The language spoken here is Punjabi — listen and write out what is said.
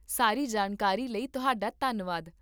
ਸਾਰੀ ਜਾਣਕਾਰੀ ਲਈ ਤੁਹਾਡਾ ਧੰਨਵਾਦ